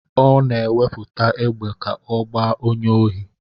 Ọ na-ewepụta égbè ka ọ gbaa onye ohi.